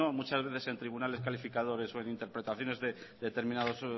muchas veces en tribunales calificadores o en interpretaciones de determinados